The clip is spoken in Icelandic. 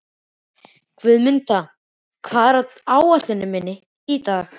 Guðmunda, hvað er á áætluninni minni í dag?